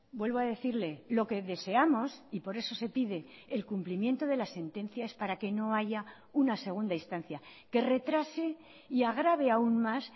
vuelvo a decirle lo que deseamos y por eso se pide el cumplimiento de las sentencias para que no haya una segunda instancia que retrase y agrave aún más